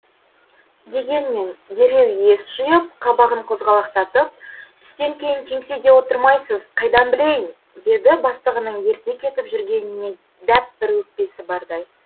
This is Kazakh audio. дегенмен дереу ес жиып қабағын қозғалақтатып түстен кейін кеңседе отырмайсыз қайдан білейін деді бастығының ерте кетіп жүргеніне дәп бір өкпесі бардай